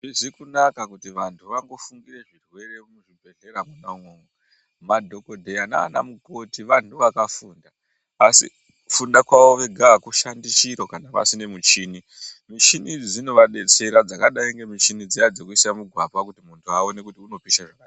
Hazvizi kunaka kuti vantu vangofungire zvirwere muzvibhedhlera mwona imwomwo. Madhogodheya nana mukoti vantu vakafunda asi kufunda kwavo vega hakushandi chiro kana pasine michini. Michini idzi dzinovabetsera dzakadai ngemichini dziya dzekuisa mugwapa kuti muntu aone kuti unopisha zvakadini.